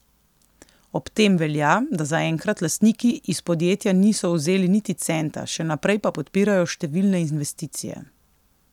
Ob tem velja, da zaenkrat lastniki iz podjetja niso vzeli niti centa, še naprej pa podpirajo številne investicije.